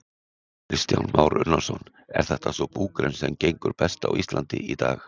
Kristján Már Unnarsson: Er þetta sú búgrein sem gengur best á Íslandi í dag?